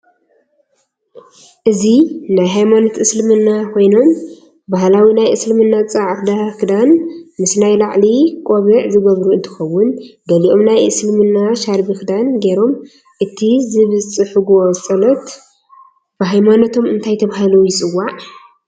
አዚ ናይ ሃይማኖት እስልምና ኮይኖም ባህላዊ ናይ እስልምና ፃዕ ክዳን ምስ ናይ ላዕሊ ቆብዒዝገበሩ እንትከውን ገልኦም ናይ እስሊምና ሻርቢ ክዳን ገይሮም እቲ ዝብፅሑጎ ፀሉት ብሃይማኖቶም እንታይ ተባሂሉ ይፅዋዕ?